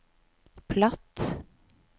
platt